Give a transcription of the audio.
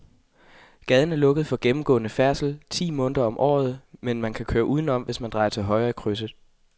Gaden er lukket for gennemgående færdsel ti måneder om året, men man kan køre udenom, hvis man drejer til højre i krydset.